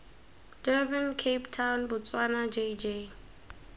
durban cape town botswana jj